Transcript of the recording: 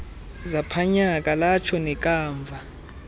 zaphanyaka latsho nekamva